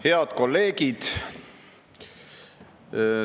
Head kolleegid!